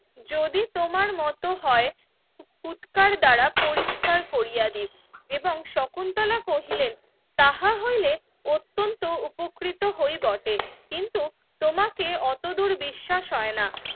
যদি তোমার মত হয় উৎকার দ্বারা পরিষ্কার কোরিয়া ডিপ এবং শকুন্তলা কহিলেন তাহা হইলে অত্যন্ত উপকৃত হই বটে কিন্তু তোমাকে অতদূর বিশ্বাস হয়না